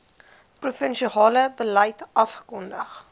provinsiale beleid afgekondig